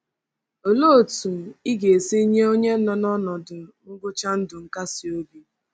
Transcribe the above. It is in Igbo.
Olee otú ị ga-esi nye onye nọ n’ọnọdụ ngwụcha ndụ nkasiobi?